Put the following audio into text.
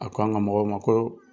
A ko an ka mɔgɔw ma ko